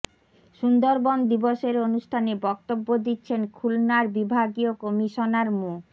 সুন্দরবন দিবসের অনুষ্ঠানে বক্তব্য দিচ্ছেন খুলনার বিভাগীয় কমিশনার মো